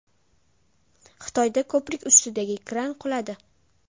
Xitoyda ko‘prik ustidagi kran quladi.